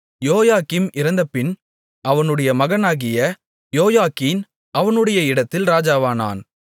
யோயாக்கீம் இறந்தபின் அவனுடைய மகனாகிய யோயாக்கீன் அவனுடைய இடத்தில் ராஜாவானான்